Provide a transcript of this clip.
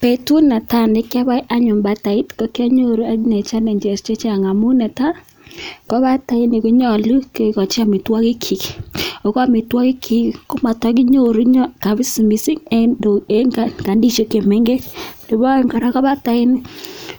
Betut netai ne kiboen anyun batait ko ki anyoru challenges chechang amun netai: ko bataini konyolu kigochi amitwogikyik, ago amitwogikyik komatokinyoru mising en kandiishek che mengech, nebo oeng kora ko batait